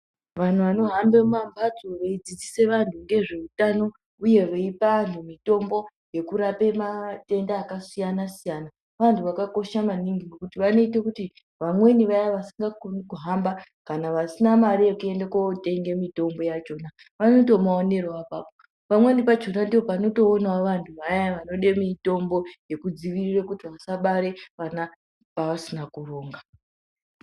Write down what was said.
Vanhu vanohamba mumamhatso veidzidzisa anhtu ngezveutano uye veipa antu mitombo yekurape matenda akasiyana siyana vantu vakakosha maningi. Ngekuti vanoita kuti vamweni vayani vasingakoni kuhamba kana vasina mare yekotenga mitombo yachona vanotomaonerawo apapo. Pamweni pachona ndoopanotoonera vantu vanode mitombo yekudzivirira kuti vasabare vana vavasina kuronga.